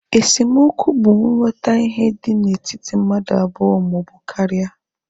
Esemokwu bụ nghotahie dị na etiti mmadụ abụọ maọbụ karia